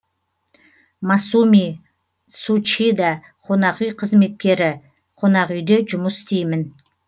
масуми цучида қонақүй қызметкері қонақүйде жұмыс істеймін